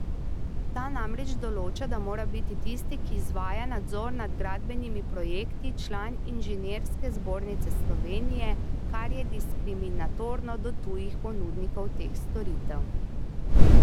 Ta namreč določa, da mora biti tisti, ki izvaja nadzor nad gradbenimi projekti, član Inženirske zbornice Slovenije, kar je diskriminatorno do tujih ponudnikov teh storitev.